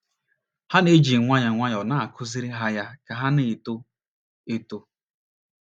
Ha na - eji nwayọọ nwayọọ na - akụziri ha ya ka ha na - eto. eto.